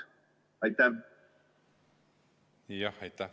Jah, aitäh!